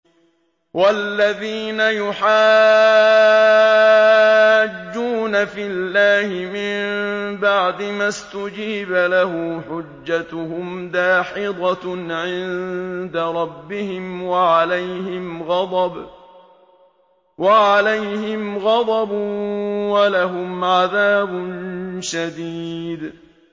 وَالَّذِينَ يُحَاجُّونَ فِي اللَّهِ مِن بَعْدِ مَا اسْتُجِيبَ لَهُ حُجَّتُهُمْ دَاحِضَةٌ عِندَ رَبِّهِمْ وَعَلَيْهِمْ غَضَبٌ وَلَهُمْ عَذَابٌ شَدِيدٌ